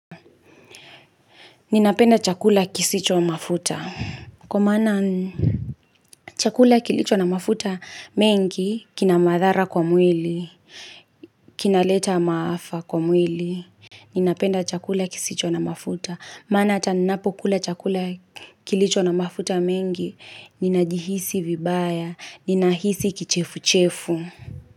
Ninapenda chakula kisicho na mafuta. Kwa maana chakula kilicho na mafuta mengi kina madhara kwa mwili, kina leta maafa kwa mwili. Ninapenda chakula kisicho na mafuta. Mana hata ninapukula chakula kilicho na mafuta mengi ninajihisi vibaya, ninahisi kichefu-chefu.